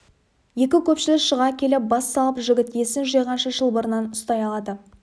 екі көпшіл шыға келіп бас салып жігіт есін жиғанша шылбырынан ұстай алады